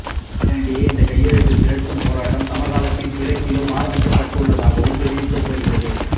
இதனிடையே இந்த கையெழுத்து திரட்டும் போராட்டம் சமகாலத்தில் கிழக்கிலும் ஆரம்பிக்கப்பட்டுள்ளதாகவும் தெரிவிக்கப்படுகிறது